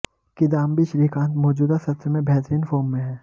किदांबी श्रीकांत मौजूदा सत्र में बेहतरीन फॉर्म में हैं